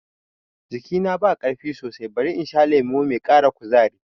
Jikina ba ƙarfi sosai, bari in sha lemo mai ƙara kuzari